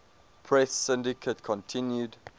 press syndicate continued